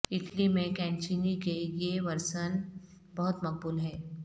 Italy میں کینٹچینی کے یہ ورژن بہت مقبول ہے